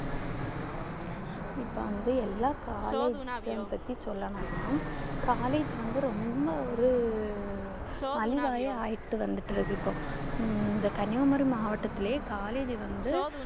இப்போ வந்து எல்லாம் collage பத்தி சொல்ல வேணாம் collage வந்து ரொம்ப ஒரு மலிவாயே ஆயிட்டு வந்துட்டு இருக்கு இப்போ இந்த கன்னியாகுமரி மாவட்டத்திலேயே collage வந்து